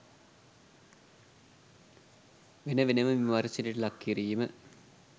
වෙන වෙනම විමර්ශනයට ලක් කිරීම